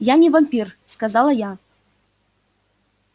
я не вампир сказала я